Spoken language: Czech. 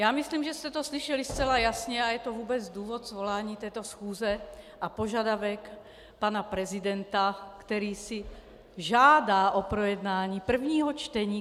Já myslím, že jste to slyšeli zcela jasně a je to vůbec důvod svolání této schůze a požadavek pana prezidenta, který si žádá o projednání prvního čtení.